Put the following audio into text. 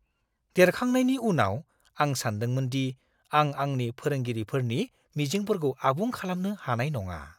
देरखांनायनि उनाव, आं सानदोंमोन दि आं आंनि फोरोंगिरिफोरनि मिजिंफोरखौ आबुं खालामनो हानाय नङा।